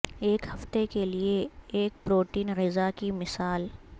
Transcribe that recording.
ایک ہفتے کے لئے ایک پروٹین غذا کی مثال